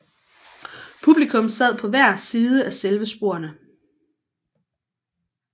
Publikum sad på hver side af selve sporene